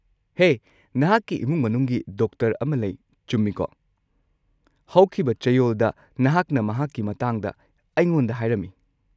ꯍꯦ, ꯅꯍꯥꯛꯀꯤ ꯏꯃꯨꯡ ꯃꯅꯨꯡꯒꯤ ꯗꯣꯛꯇꯔ ꯑꯃ ꯂꯩ, ꯆꯨꯝꯃꯤꯀꯣ? ꯍꯧꯈꯤꯕ ꯆꯌꯣꯜꯗ ꯅꯍꯥꯛꯅ ꯃꯍꯥꯛꯀꯤ ꯃꯇꯥꯡꯗ ꯑꯩꯉꯣꯟꯗ ꯍꯥꯏꯔꯝꯃꯤ꯫